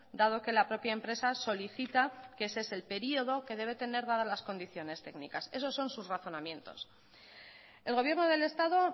dado que la propia empresa solicita que ese es el período que debe tener dadas las condiciones técnicas esos son sus razonamientos el gobierno del estado